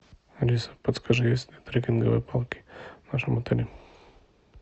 алиса подскажи есть ли трекинговые палки в нашем отеле